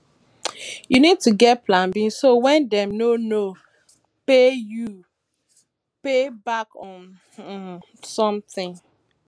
you need to get plan b so when dem no no um pay you you um fall back on um something